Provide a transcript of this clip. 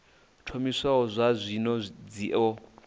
thomiwaho zwa zwino dzi o